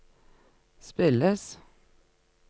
spilles